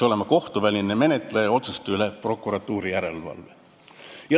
Kohtuvälise menetleja otsuste üle peaks olema prokuratuuri järelevalve.